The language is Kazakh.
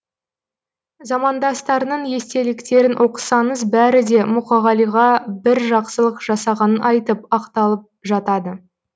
замандастарының естеліктерін оқысаңыз бәрі де мұқағалиға бір жақсылық жасағанын айтып ақталып жатады